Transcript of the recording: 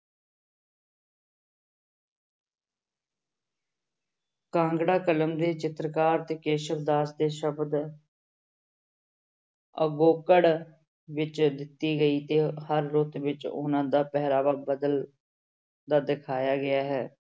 ਕਾਂਗੜਾ ਕਲਮ ਦੇ ਚਿਤਰਕਾਰ ਤੇ ਕੇਸਵ ਦਾਸ ਦੇ ਸ਼ਬਦ ਵਿੱਚ ਦਿੱਤੀ ਗਈ ਤੇ ਹਰ ਰੁੱਤ ਵਿੱਚ ਉਹਨਾਂ ਦਾ ਪਹਿਰਾਵਾ ਬਦਲ ਦਾ ਦਿਖਾਇਆ ਗਿਆ ਹੈ।